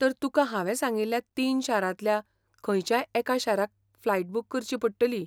तर तुकां हांवेें सांगिल्ल्या तीन शारांतल्या खंयच्याय एका शाराक फ्लायट बूक करची पडटली.